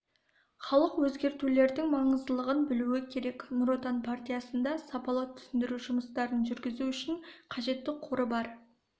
халық өзгертулердің маңыздылығын білуі керек нұр отан партиясында сапалы түсіндіру жұмыстарын жүргізу үшін қажетті қоры бар